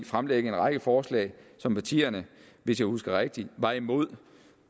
fremlægge en række forslag som partierne hvis jeg husker rigtigt var imod